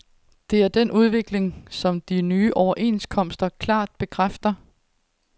Det er den udvikling, som de nye overenskomster klart bekræfter.